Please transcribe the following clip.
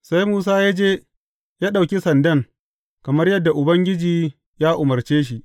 Sai Musa ya je ya ɗauki sandan kamar yadda Ubangiji ya umarce shi.